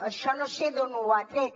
això no sé d’on ho ha tret